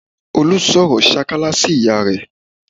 Olú sọ̀rọ̀ sákálá sí ìyá rẹ̀